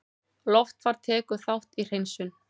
Loftfar tekur þátt í hreinsun